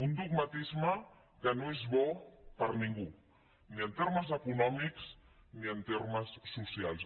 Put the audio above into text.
un dogmatisme que no és bo per a ningú ni en termes econòmics ni en termes socials